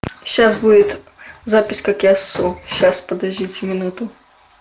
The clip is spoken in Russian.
сейчас будет запись как я сру сейчас подождите минуту